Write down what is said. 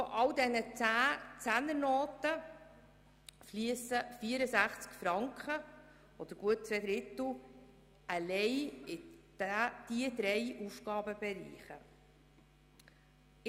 Von all diesen Zehnernoten fliessen 64 Franken oder rund zwei Drittel einzig in diese Aufgabenbereiche.